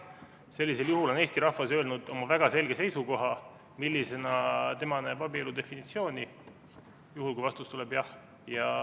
Sellisel juhul on Eesti rahvas öelnud oma väga selge seisukoha, millisena tema näeb abielu definitsiooni.